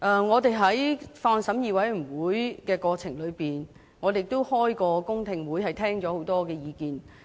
我們在法案委員會的審議過程中，也曾召開公聽會，聽過很多意見。